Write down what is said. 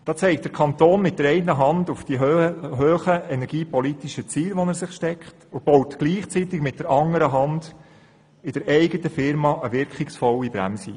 Da zeigt der Kanton mit der einen Hand auf die hohen energiepolitischen Ziele, die er sich setzt, und baut gleichzeitig mit der anderen Hand in der eigenen Unternehmung eine wirkungsvolle Bremse ein.